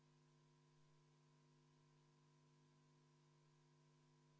Küsimus on saanud järgmise lahenduse: tervise‑ ja tööminister on Riigikogu saalis ja ma palun teda Riigikogu kõnetooli.